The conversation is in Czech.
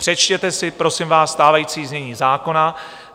Přečtěte si, prosím vás, stávající znění zákona.